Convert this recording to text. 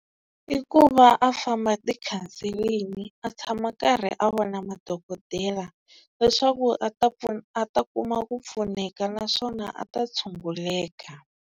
I ku va a famba ti-counseling-i a tshama a karhi a vona madokodela leswaku a ta a ta kuma ku pfuneka naswona a ta tshunguleka.